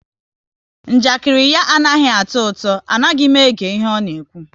Njakiri ya anaghị atọ ụtọ, anaghị m ege ihe ọ na-ekwu